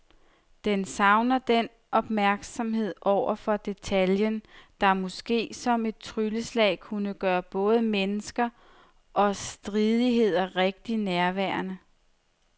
Den savner den opmærksomhed over for detaljen, der måske som et trylleslag kunne gøre både mennesker og stridigheder rigtig nærværende.